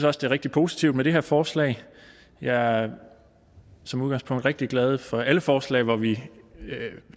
er rigtig positivt med det her forslag jeg er som udgangspunkt rigtig glad for alle forslag hvor vi